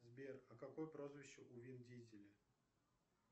сбер а какое прозвище у вин дизеля